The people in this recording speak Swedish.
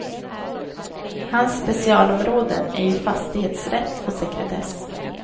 Hans specialområden är ju fastighetsrätt och sekretess.